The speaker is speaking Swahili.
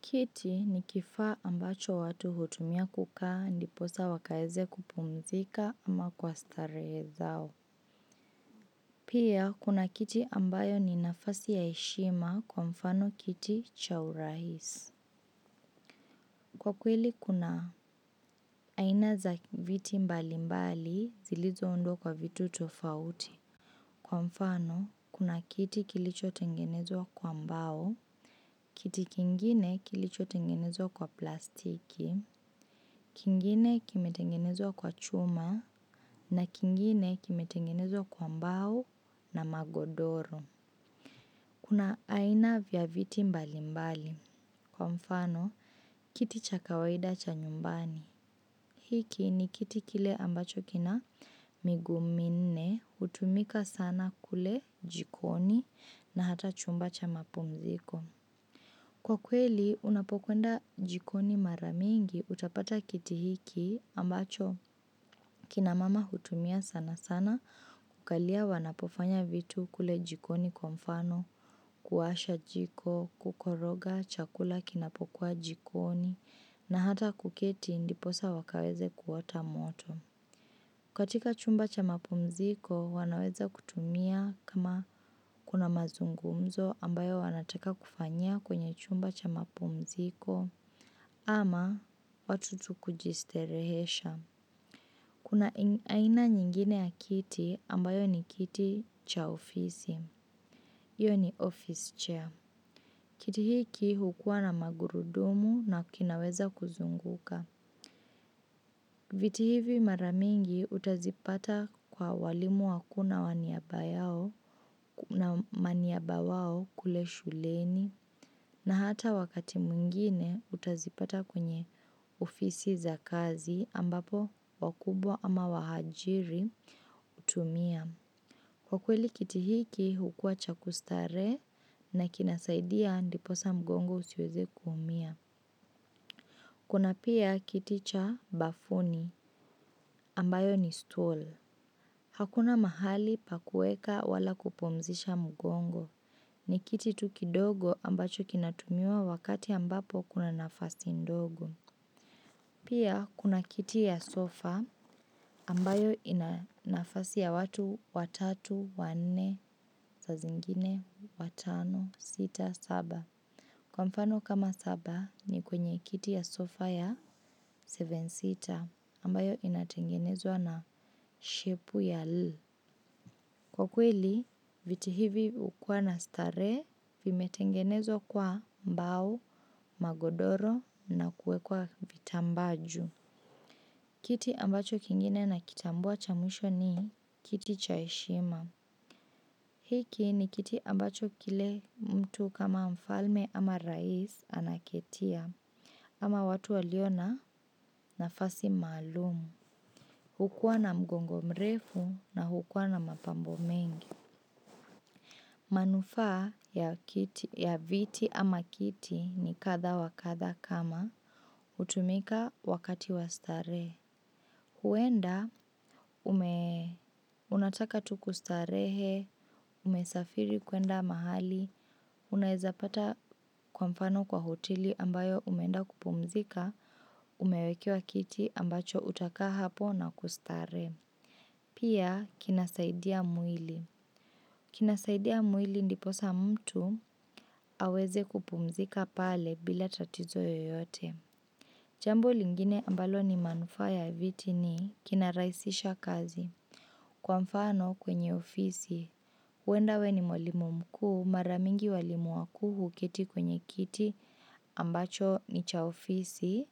Kiti ni kifaa ambacho watu hutumia kukaa ndiposa wakaeze kupumzika ama kwa starehe zao. Pia, kuna kiti ambayo ni nafasi ya heshima kwa mfano kiti cha uraisi. Kwa kweli kuna aina za viti mbalimbali zilizoundwa kwa vitu tofauti. Kwa mfano, kuna kiti kilicho tengenezwa kwa mbao. Kiti kingine kilichotengenezwa kwa plastiki. Kingine kimetengenezwa kwa chuma na kingine kimetengenezwa kwa mbao na magodoro. Kuna aina vya viti mbali mbali. Kwa mfano, kiti cha kawaida cha nyumbani hiki ni kiti kile ambacho kina miguu minne hutumika sana kule jikoni na hata chumba cha mapumziko. Kwa kweli, unapokwenda jikoni mara mingi utapata kiti hiki ambacho kina mama hutumia sana sana kukalia wanapofanya vitu kule jikoni kwa mfano, kuwasha jiko, kukoroga chakula kinapokuwa jikoni na hata kuketi ndiposa wakaweze kuota moto. Katika chumba cha mapumziko, wanaweza kutumia kama kuna mazungumzo ambayo wanataka kufanyia kwenye chumba cha mapumziko ama watu tu kujistarehesha. Kuna aina nyingine ya kiti ambayo ni kiti cha ofisi. Hiyo ni office chair. Kiti hiki hukua na magurudumu na kinaweza kuzunguka. Viti hivi mara mingi utazipata kwa walimu wakuu na waniaba yao na maniaba wao kule shuleni na hata wakati mwingine utazipata kwenye ofisi za kazi ambapo wakubwa ama waajiri hutumia. Kwa kweli kiti hiki hukua cha kustarehe na kinasaidia ndiposa mgongo usiweze kuumia. Kuna pia kiti cha bafuni ambayo ni stool. Hakuna mahali pa kuweka wala kupumzisha mugongo. Ni kiti tu kidogo ambacho kinatumuwa wakati ambapo kuna nafasi ndogo. Pia kuna kiti ya sofa ambayo ina nafasi ya watu watatu, wanne, saa zingine watano, sita, saba. Kwa mfano kama saba ni kwenye kiti ya sofa ya seven seater ambayo inatengenezwa na shepu ya L. Kwa kweli, viti hivi hukua na starehe vimetengenezwa kwa mbao, magodoro na kuwekwa vitambaa juu. Kiti ambacho kingine nakitambua cha mwisho ni kiti cha heshima. Hiki ni kiti ambacho kile mtu kama mfalme ama raisi anaketia. Ama watu walio na nafasi maalumu. Hukuwa na mgongo mrefu na hukuwa na mapambo mengi. Manufaa ya viti ama kiti ni katha wa katha kama hutumika wakati wa starehe. Huenda, unataka tu kustarehe, umesafiri kwenda mahali, unaezapata kwa mfano kwa hoteli ambayo umeenda kupumzika, umewekewa kiti ambacho utakaa hapo na kustarehe. Pia, kinasaidia mwili. Kinasaidia mwili ndiposa mtu aweze kupumzika pale bila tatizo yoyote. Jambo lingine ambalo ni manufaa ya viti ni kinarahisisha kazi kwa mfano kwenye ofisi. Huenda wewe ni mwalimu mkuu mara mingi walimu wakuu huketi kwenye kiti ambacho ni cha ofisi